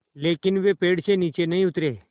लेकिन वे पेड़ से नीचे नहीं उतरे